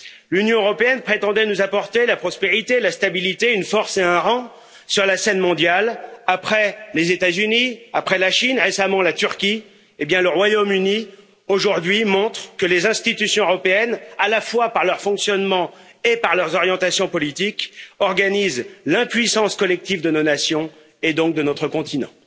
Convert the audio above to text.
L'Union européenne prétendait nous apporter la prospérité, la stabilité, une force et un rang sur la scène mondiale après les États Unis, après la Chine, et récemment la Turquie, hé bien le Royaume Uni aujourd'hui montre que les institutions européennes, à la fois par leur fonctionnement et par leurs orientations politiques, organisent l'impuissance collective de nos nations et donc de notre continent.